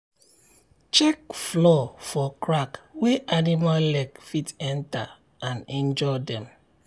check floor for crack wey animal leg fit enter and injure dem.